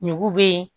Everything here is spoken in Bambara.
Ɲugu bɛ